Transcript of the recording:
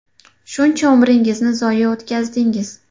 Shuncha umringizni zoye o‘tkazdingiz.